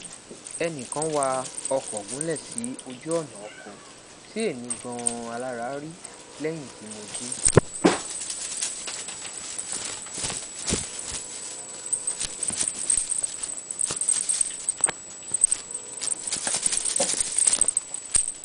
ẹnikan wa ọkọ gunlẹ si ojuọna ọkọ ti emi ganan alara ri lẹyin ti mo ji